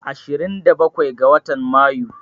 Ashirin da bakwai ga watan Mayu